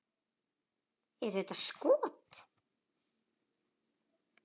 Eru þetta skot.